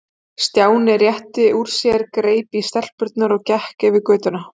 Stjáni rétti úr sér, greip í stelpurnar og gekk yfir götuna.